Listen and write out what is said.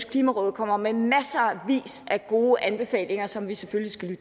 klimarådet kommer med masser af gode anbefalinger som vi selvfølgelig